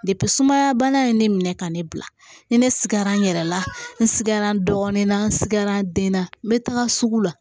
sumaya bana ye ne minɛ ka ne bila ni ne sigara n yɛrɛ la n sigara dɔɔnin na n sigara den na n bɛ taga sugu la